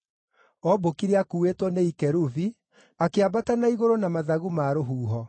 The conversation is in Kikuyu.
Ombũkire akuuĩtwo nĩ ikerubi; akĩambata na igũrũ na mathagu ma rũhuho.